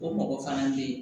O mɔgɔ fana be ye